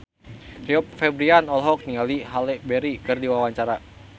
Rio Febrian olohok ningali Halle Berry keur diwawancara